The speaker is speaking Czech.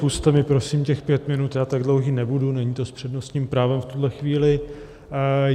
Pusťte mi prosím těch pět minut, já tak dlouhý nebudu, není to s přednostním právem v tuhle chvíli.